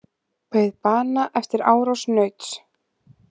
Beið bana eftir árás nauts